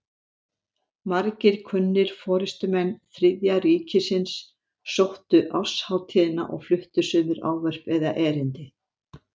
Margir kunnir forystumenn Þriðja ríkisins sóttu árshátíðina og fluttu sumir ávörp eða erindi.